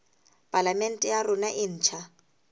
palamente ya rona e ntjha